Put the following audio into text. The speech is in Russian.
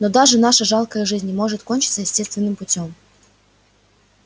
но даже наша жалкая жизнь не может кончиться естественным путём